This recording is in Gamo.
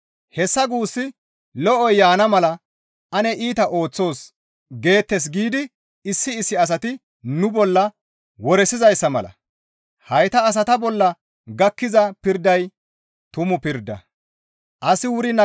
Hessa guussi, «Lo7oy yaana mala ane iita ooththoos» geettes giidi issi issi asati nu bolla woresizayssa mala. Hayta asata bolla gakkiza pirday tumu pirda.